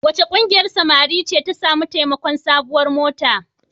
Wace ƙungiyar samari ce ta sami taimakon sabuwar mota?